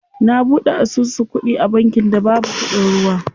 Na buɗe asusu kuɗi a bankin da babu kuɗin ruwa.